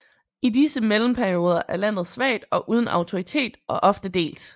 I disse mellemperioder er landet svagt og uden autoritet og ofte delt